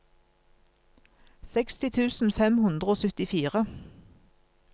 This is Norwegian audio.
seksti tusen fem hundre og syttifire